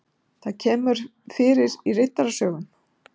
það kemur fyrir í riddarasögum